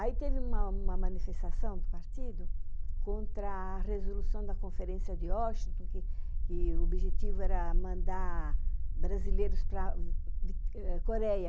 Aí teve uma manifestação do partido contra a resolução da conferência de Washington, que o objetivo era mandar brasileiros para a Coreia.